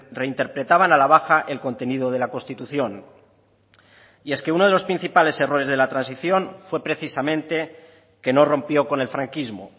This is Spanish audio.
reinterpretaban a la baja el contenido de la constitución y es que uno de los principales errores de la transición fue precisamente que no rompió con el franquismo